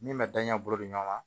Min bɛ daɲɛ bolo di ɲɔgɔn ma